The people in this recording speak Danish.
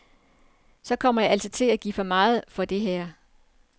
Så kommer jeg altså til at give for meget for det her.